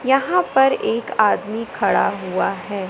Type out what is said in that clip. यहां पर एक आदमी खड़ा हुआ है।